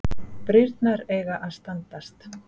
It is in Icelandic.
Brýrnar eiga að standast